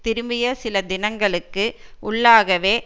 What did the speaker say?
திரும்பிய சில தினங்களுக்கு உள்ளாகவே